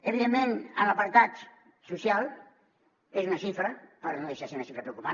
evidentment en l’apartat social és una xifra però no deixa de ser una xifra preocupant